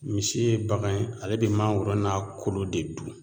Misi ye bagan ye ale be mangoro n'a kolo de dun